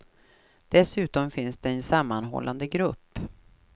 Dessutom finns det en sammanhållande grupp.